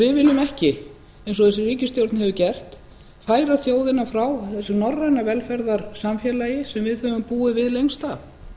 við viljum ekki eins og þessi ríkisstjórn hefur gert færa þjóðina frá þessu norræna velferðarsamfélagi sem við höfum búið við lengst